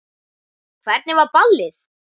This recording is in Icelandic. Hvernig var ballið?